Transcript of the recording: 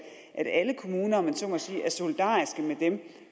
alle kommuner om man så må sige er solidariske med dem